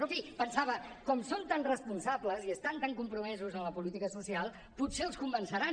però en fi pensava com que són tan responsables i estan tan compromesos amb la política social potser els convenceran